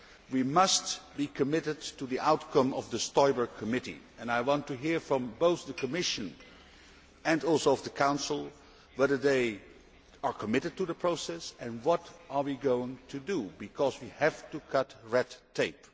We must be committed to the outcome of the Stoiber Committee, and I want to hear from both the Commission and the Council whether they are committed to this process and what we are going to do, because we have to cut red tape.